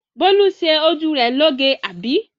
Bólú ṣe ojú rẹ loge, àbí?